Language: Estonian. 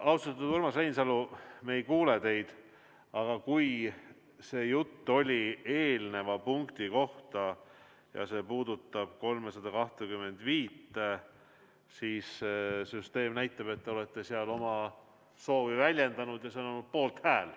Austatud Urmas Reinsalu, me ei kuule teid, aga kui see jutt oli eelneva punkti kohta ja see puudutab eelnõu 325, siis saan öelda, et süsteem näitab, et te olete seal oma soovi väljendanud ja antud on poolthääl.